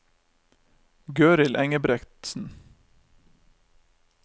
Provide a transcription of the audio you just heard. Gøril Engebretsen